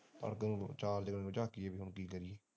ਪਾਸੇ ਨੂੰ ਚਾਰ ਦਿਵਾਰੀ ਨੂੰ ਝਾਕੀ ਗਈ ਕੀ ਕਰੀਏ